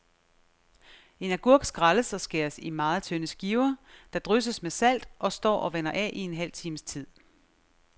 En agurk skrælles og skæres i meget tynde skiver, der drysses med salt og står og vander af i en halv times tid.